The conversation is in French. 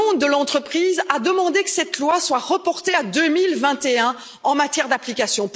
le monde de l'entreprise a demandé que cette loi soit reportée à 2021, en matière d'application.